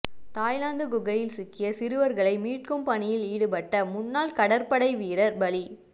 Thailand குகையில் சிக்கிய சிறுவர்களை மீட்கும் பணியில் ஈடுபட்ட முன்னாள் கடற்படை வீரர் பலி